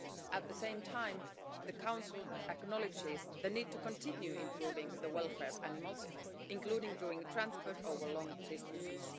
At the same time, the Council acknowledges the need to continue improving the welfare of animals, including during transport over long distances.